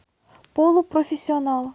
полупрофессионал